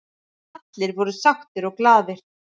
Allir voru sáttir og glaðir.